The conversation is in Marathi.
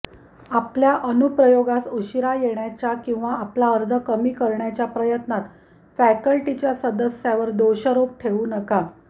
आपल्या अनुप्रयोगास उशीरा येण्याच्या किंवा आपला अर्ज कमी करण्याच्या प्रयत्नात फॅकल्टीच्या सदस्यावर दोषारोप ठेवू नका